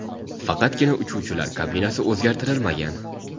Faqatgina uchuvchilar kabinasi o‘zgartirilmagan.